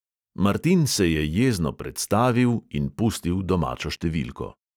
Martin se je jezno predstavil in pustil domačo številko.